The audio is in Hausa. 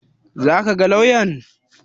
Za ka ga lauyan?